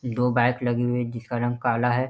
दो बाइक लगी हुई है एक जिसका रंग काला है।